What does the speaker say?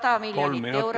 Kolm minutit lisaaega, palun!